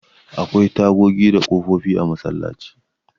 Akwai tagogi da ƙofofi a masallaci.